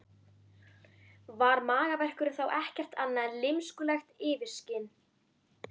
Var magaverkurinn þá ekkert annað en lymskulegt yfirskin?